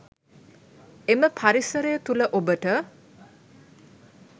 එම පරිසරය තුළ ඔබට